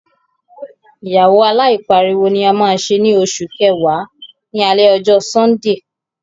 Ìgbéyàwó aláìpariwo ni a máa ṣe ní oṣù kẹwàá, ní alẹ ọjọ́ Sọ́ńdè.